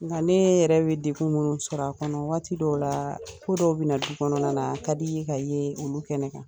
Ŋka ne yɛrɛ bɛ degu minnu sɔrɔ a kɔnɔ waati dɔw la ko dɔw bɛna du kɔnɔna na a ka di i ye ka ye olu kɛnɛ kan